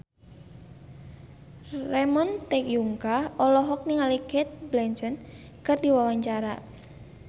Ramon T. Yungka olohok ningali Cate Blanchett keur diwawancara